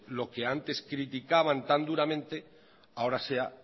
lo que antes criticaban tan duramente ahora sea